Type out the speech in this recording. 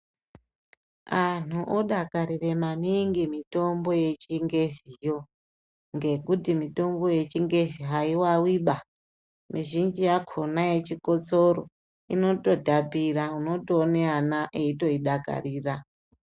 Anhu odakarire maningi mitombo yechingeziyo ngekuti mitombo yechingezi haiwawiba, mizhinji yakona yechikotsoro inototapira unotoone ana eitodakarira.